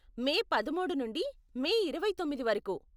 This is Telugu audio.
మే పదమూడు నుండి మే ఇరవై తొమ్మిది వరకు.